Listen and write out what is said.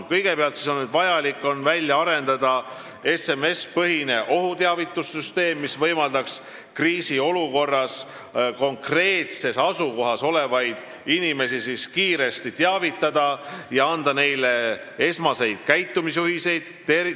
Kõigepealt on vaja välja arendada SMS-i-põhine ohuteavitussüsteem, mis võimaldaks kriisiolukorras konkreetses asukohas olevaid inimesi kiiresti teavitada ja anda neile esmaseid käitumisjuhiseid.